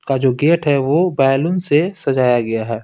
का जो गेट हैवह बैलून से सजाया गया है।